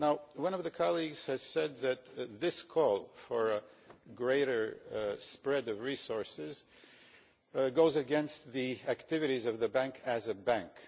One of my colleagues has said that this call for a greater spread of resources goes against the activities of the Bank as a bank.